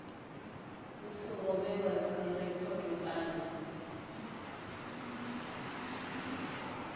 hu songo vhewa dzirekhodo kana